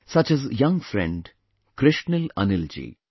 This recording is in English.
Such as young friend, Krishnil Anil ji